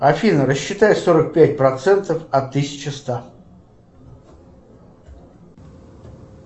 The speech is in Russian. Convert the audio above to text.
афина рассчитай сорок пять процентов от тысячи ста